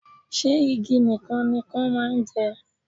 Ṣé igi nìkan ni Ikan máa ń jẹ?